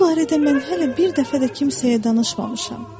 Bu barədə mən hələ bir dəfə də kimsəyə danışmamışam.